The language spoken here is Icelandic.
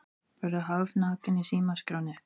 Verður hálfnakinn í símaskránni